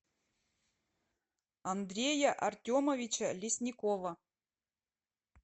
андрея артемовича лесникова